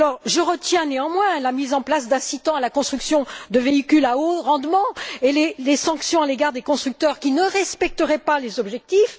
Je retiens, néanmoins, la mise en place d'incitants à la construction de véhicules à haut rendement et les sanctions à l'égard des constructeurs qui ne respecteraient pas les objectifs.